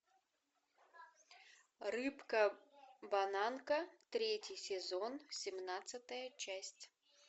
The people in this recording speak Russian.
рыбка бананка третий сезон семнадцатая часть